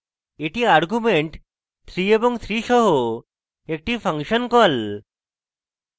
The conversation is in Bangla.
এটি arguments 3 এবং 3 সহ একটি ফাংশন call